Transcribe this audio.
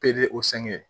o